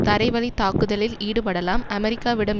தரைவழித்தாக்குதலில் ஈடுபடலாம் அமெரிக்காவிடம்